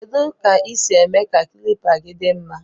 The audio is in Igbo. Kedu ka isi eme ka klipa gi di mma.